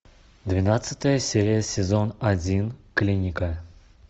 двенадцатая серия сезон один клиника